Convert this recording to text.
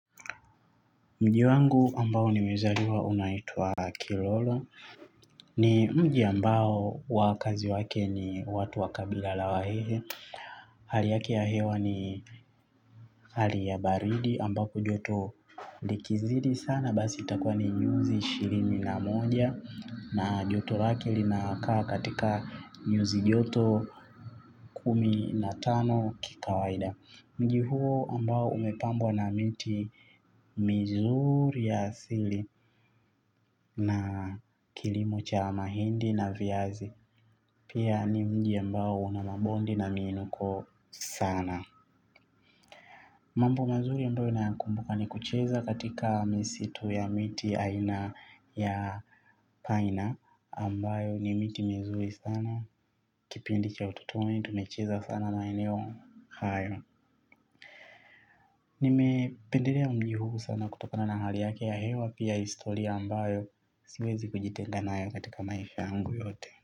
Mji wangu ambao nimezaliwa unaitwa Kiroro. Ni mji ambao wakazi wake ni watu wa kabila la wahehe. Hali yake ya hewa ni hali ya baridi ambapo joto likizidi sana. Basi itakuwa ni nyuzi ishirini na moja na joto lake linakaa katika nyuzi joto kumi na tano kikawaida. Mji huo ambao umepambwa na miti mizuri ya asili na kilimo cha mahindi na viazi. Pia ni mji ambao una mabondi na miinuko sana. Mambo mazuri ambayo nayakumbuka ni kucheza katika misitu ya miti ya aina ya paina ambayo ni miti mizuri sana kipindi cha utotoni tumecheza sana maeneo hayo. Nimependelea mji huu sana kutokona na hali yake ya hewa pia historia ambayo siwezi kujitenga nayo katika maisha yangu yote.